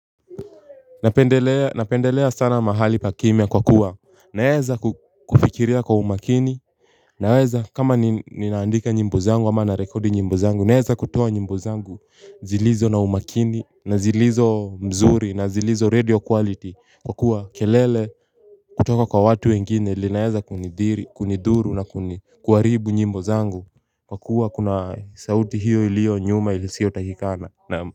Napendelea sana mahali pakimia kwa kuwa naeza kufikiria kwa umakini. Naweza kama ninaandika nyimbo zangu ama na rekodi nyimbo zangu. Naeza kutoa nyimbo zangu zilizo na umakini na zilizo mzuri na zilizo radio quality. Kwa kuwa kelele kutoka kwa watu wengine linaeza kunidhuru na kuharibu nyimbo zangu. Kwa kuwa kuna sauti hiyo iliyo nyuma ilisiyo takikana na.